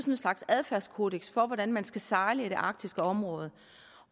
en slags adfærdskodeks for hvordan man skal sejle i det arktiske område